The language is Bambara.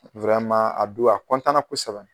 a don a na kosɛbɛ.